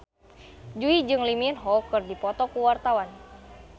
Jui jeung Lee Min Ho keur dipoto ku wartawan